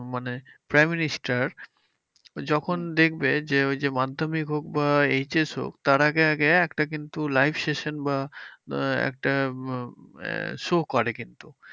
মানে Prime Minister যখন দেখবে যে, ওই মাধ্যমিক হোক বা HS হোক তার আগে আগে একটা কিন্তু live session বা আহ একটা show করে কিন্তু।